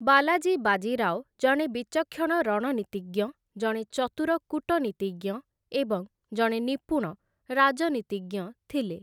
ବାଲାଜୀ ବାଜିରାଓ, ଜଣେ ବିଚକ୍ଷଣ ରଣନୀତିଜ୍ଞ, ଜଣେ ଚତୁର କୂଟନୀତିଜ୍ଞ ଏବଂ ଜଣେ ନିପୁଣ ରାଜନୀତିଜ୍ଞ ଥିଲେ ।